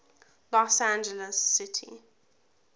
los angeles city